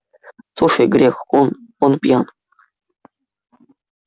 слушай грех он он пьян